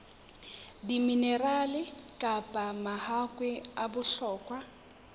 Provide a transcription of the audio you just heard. diminerale kapa mahakwe a bohlokwa